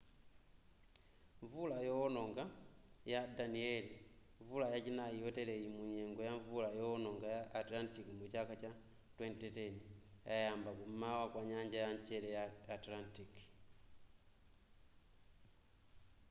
mvula yoononga ya danielle mvula yachinai yoteleyi munyengo ya mvula yoononga ya atlantic mu chaka cha 2010 yayamba kum'mawa kwa nyanja ya mchere ya atlantic